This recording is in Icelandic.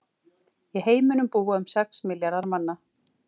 Í heiminum búa um sex milljarðar manna.